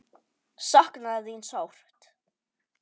Sakna þín sárt.